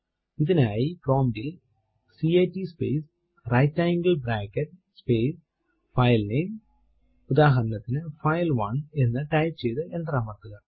ഇതിനായി പ്രോംപ്റ്റ് ൽ cat space right angle bracket space filename ഉദാഹരണത്തിനു ഫൈൽ1 എന്ന് ടൈപ്പ് ചെയ്തു എന്റർ അമർത്തുക